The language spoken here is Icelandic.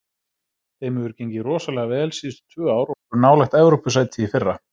Þeim hefur gengið rosalega vel síðustu tvö ár og voru nálægt Evrópusæti í fyrra.